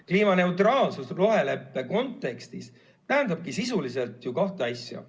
Kliimaneutraalsus roheleppe kontekstis tähendab sisuliselt kahte asja.